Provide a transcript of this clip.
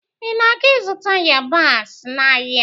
ị na aga-izụta yabasị n'ahịa?